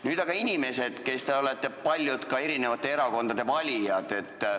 Nüüd aga, inimesed, kellest paljud on ka eri erakondade valijad!